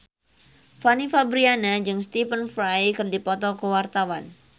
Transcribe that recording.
Fanny Fabriana jeung Stephen Fry keur dipoto ku wartawan